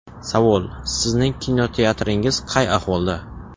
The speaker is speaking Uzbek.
Savol: sizning kinoteatringiz qay ahvolda?